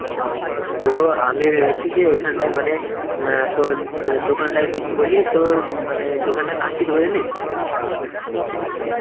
হম, তো আমি ভেবেছি যে এখানটায় মানে অ্যাঁ তোর অ্যাঁ দোকানটা যদি খুলি, তো উম মানে দোকানটার নাম কি দিব জানিস?